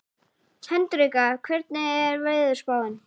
Hendrikka, hvernig er veðurspáin?